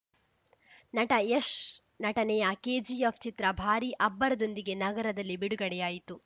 ನಟ ಯಶ್‌ ನಟನೆಯ ಕೆಜಿಎಫ್‌ ಚಿತ್ರ ಭಾರೀ ಅಬ್ಬರದೊಂದಿಗೆ ನಗರದಲ್ಲಿ ಬಿಡುಗಡೆಯಾಯಿತು